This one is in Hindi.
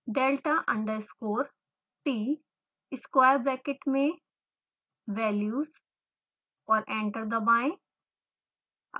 delta underscore t square bracket में values और एंटर दबाएं